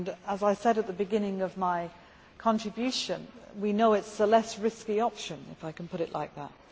As I said at the beginning of my contribution, we know it is the least risky option, if I can put it like that.